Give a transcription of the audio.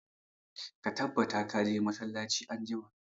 Ka tabbata ka je masallaci anjima!